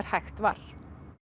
hægt var